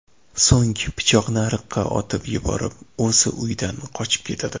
So‘ng pichoqni ariqqa otib yuborib, o‘zi uydan qochib ketadi.